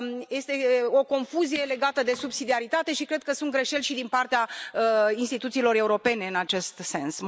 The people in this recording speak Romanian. Este o confuzie legată de subsidiaritate și cred că sunt greșeli și din partea instituțiilor europene în acest sens.